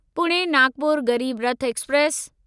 Pune Nagpur Garib Rath express